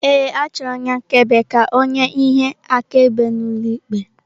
Ee, achọrọ onye akaebe ka ọ nye ihe akaebe n'ụlọ ikpe.